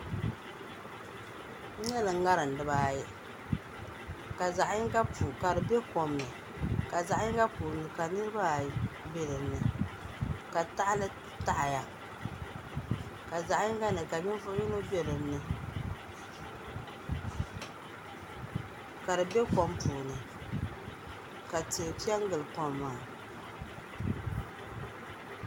N nyɛla ŋarim dibaayi ka di bɛ kom ni ka zaɣ yinga puuni ka niraba ayi bɛ dinni ka tahali taɣaya ka zaɣ yinga ni ka ninvuɣu yino bɛ dinni ka di bɛ kom puuni ka tihi piɛ n gili kom maa